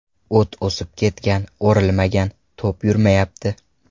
O‘t o‘sib ketgan, o‘rilmagan, to‘p yurmayapti.